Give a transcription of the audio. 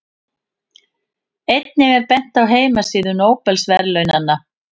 Einnig er bent á heimasíðu Nóbelsverðlaunanna.